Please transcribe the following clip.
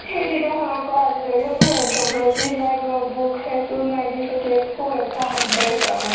সেইদিনাখনৰ পাই আজিলৈকে মই anthropology ৰ না কিবা book চাইছো না একো এটা শব্দয়ে চোৱা নাই